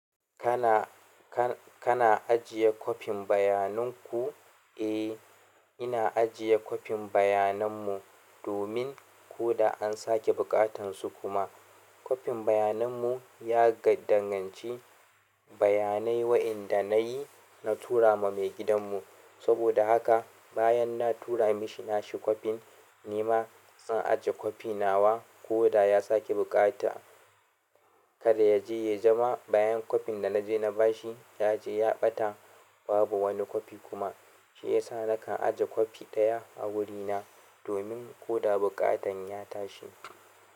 Kana, ka-kana ajiye kwafin bayanin ku? Eh, ina ajiye kwafin bayanan mu domin ko da an sake buƙatansu kuma. Kwafin bayanan mu ya ga danganci bayanai waɗanda nayi na tura ma maigidan mu. Saboda haka bayan na tura mishi nashi kwafin ni ma zan ajiye kwafi nawa ko da ya sake bukata. Kada ya je ya zama bayan kwafin da na je na bashi ya je ya ɓata babu wani kwafi kuma. Shi ya sa nakan ajiye kwafi ɗaya a wurina domin ko da buƙatan ya tashi.